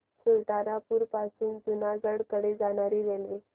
सुल्तानपुर पासून जुनागढ कडे जाणारी रेल्वे